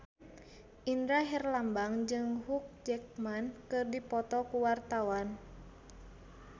Indra Herlambang jeung Hugh Jackman keur dipoto ku wartawan